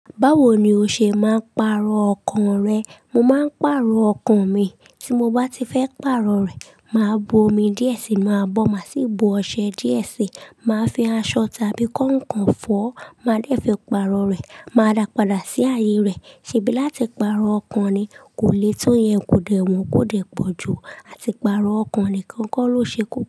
Báwo ni o ṣe máa ń pàrọ̀ ọkàn rẹ? Mo máa ń pàrọ̀ ọkàn mi. Tí mo bá ti fẹ́ pàrọ̀ rẹ̀, màá bo omi díẹ̀ sí inú abọ́, màá sì bu ọṣẹ díẹ̀ sí, màá fi aṣọ tàbí kàǹkàn fọ́. Máa dẹ́ fi pàrọ̀ rẹ̀. Màá dà pàdà sí ayé rẹ̀. Ṣèbí láti pàrọ̀ ọkàn ni, kò lè to yẹn kò dẹ̀ wọ́n kò dẹ̀ pọ̀jù. Àti pàrọ̀ ọkàn nìkan kọ́ ló ṣe kú.